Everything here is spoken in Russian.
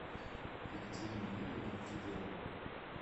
екатерина юрьевна никипелова